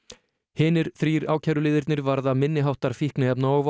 hinir þrír ákæruliðirnir varða minniháttar fíkniefna og